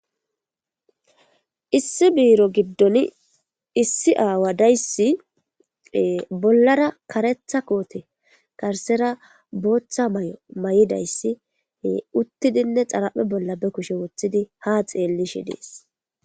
Issi biro gidoni aawa dayssi bollara karetha koote karsera booththa mayo mayidayssi uttidinne xara'e bolla be kushe woththidi ha xeelli shi dees